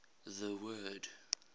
the word